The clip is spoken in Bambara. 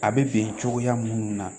A bɛ bɛn cogoya minnu na